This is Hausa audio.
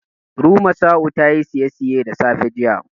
Rumasa'u tayi saisaye da safe, jiya.